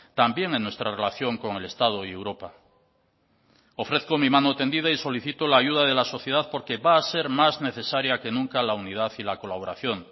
también en nuestra relación con el estado y europa ofrezco mi mano tendida y solicito la ayuda de la sociedad porque va a ser más necesaria que nunca la unidad y la colaboración